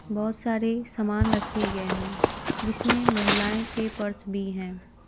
बहुत सारे सामान रखे गए हैं जिसमें महिलाएं के पर्स भी हैं।